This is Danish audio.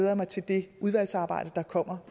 jeg mig til det udvalgsarbejde der kommer